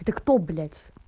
ты кто блять